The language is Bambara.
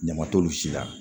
Ɲama t'olu si la